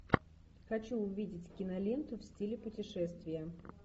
хочу увидеть киноленту в стиле путешествия